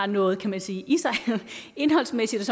noget kan man sige indholdsmæssigt